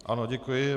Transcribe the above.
Ano, děkuji.